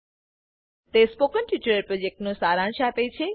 તે spoken tutorial પ્રોજેક્ટનો સારાંશ આપે છે